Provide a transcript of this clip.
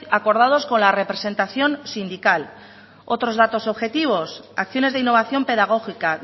acordados con la representación sindical otros datos objetivos acciones de innovación pedagógica